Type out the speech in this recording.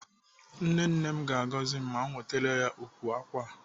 Nne nne m ga-agọzi m ma m wetere ya ukwu ákwà a.